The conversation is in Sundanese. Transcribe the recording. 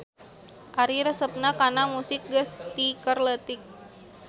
Ari resepna kana musik geus ti keur leutik.